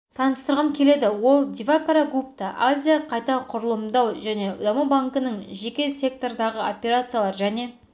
таныстырғым келеді ол дивакара гупта азия қайта құрылымдау және даму банкінің жеке сектордағы операциялар және